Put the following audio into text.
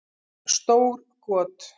Stór got